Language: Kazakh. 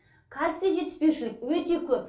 кальций жетіспеушілік өте көп